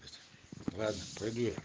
ладно пойду я